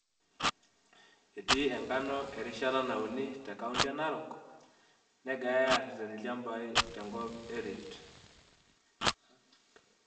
Etii enkano erishata nauni te kaunti e narok, negirai aareten ilchamabai te kop kop e Rift